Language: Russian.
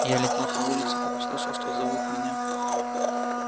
я летел по улице как услышал что зовут меня